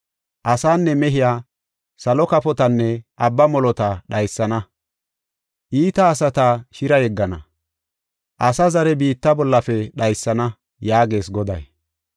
Asenne mehee, salo kafotanne abba molota dhaysana. Iita asata shira yeggana; asa zare biitta bollafe dhaysana” yaagees Goday.